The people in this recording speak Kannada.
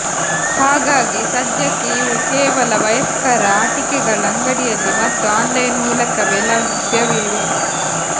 ಹಾಗಾಗಿ ಸಧ್ಯಕ್ಕೆ ಇವು ಕೇವಲ ವಯಸ್ಕರ ಆಟಿಕೆಗಳ ಅಂಗಡಿಯಲ್ಲಿ ಮತ್ತು ಆನ್ಲೈನ್ ಮೂಲಕವೇ ಲಭ್ಯವಿವೆ